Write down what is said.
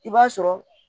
I b'a sɔrɔ